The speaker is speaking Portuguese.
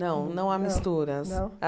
Não, não há misturas. Não